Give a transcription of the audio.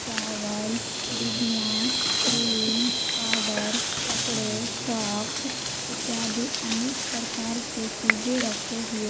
चावल डिबिया cream powder कपड़े सॉक्स इत्यादि अनेक प्रकार के चीजे रखे हुए--